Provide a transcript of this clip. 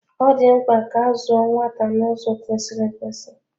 Ọ di mpka ka azụọ nwata na ụzọ kwesịrị ekwesị.